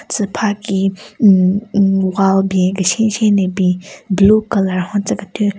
Tsü pha ki hmm hmm wall ben keshen keshen le bin blue colour hon tsekethyü.